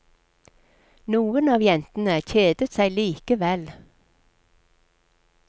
Noen av jentene kjedet seg likevel.